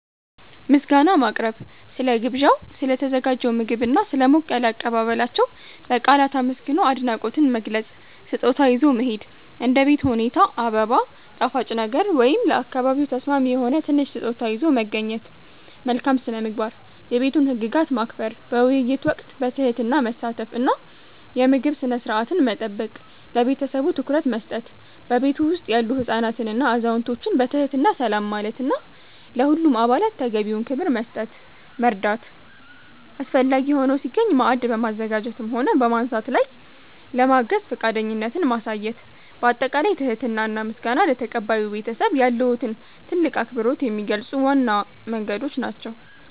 ምስጋና ማቅረብ፦ ስለ ግብዣው፣ ስለ ተዘጋጀው ምግብና ስለ ሞቅ ያለ አቀባበላቸው በቃላት አመስግኖ አድናቆትን መግለጽ። ስጦታ ይዞ መሄድ፦ እንደ ቤት ሁኔታ አበባ፣ ጣፋጭ ነገር ወይም ለአካባቢው ተስማሚ የሆነ ትንሽ ስጦታ ይዞ መገኘት። መልካም ስነ-ምግባር፦ የቤቱን ህግጋት ማክበር፣ በውይይት ወቅት በትህትና መሳተፍ እና የምግብ ስነ-ስርዓትን መጠበቅ። ለቤተሰቡ ትኩረት መስጠት፦ በቤቱ ውስጥ ያሉ ህፃናትንና አዛውንቶችን በትህትና ሰላም ማለትና ለሁሉም አባላት ተገቢውን ክብር መስጠት። መርዳት፦ አስፈላጊ ሆኖ ሲገኝ ማዕድ በማዘጋጀትም ሆነ በማንሳት ላይ ለማገዝ ፈቃደኝነትን ማሳየት። ባጠቃላይ ትህትና እና ምስጋና ለተቀባዩ ቤተሰብ ያለዎትን ትልቅ አክብሮት የሚገልጹ ዋና መንገዶች ናቸው።